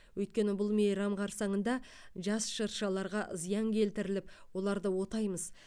өйткені бұл мейрам қарсаңында жас шыршаларға зиян келтіріліп оларды отаймыз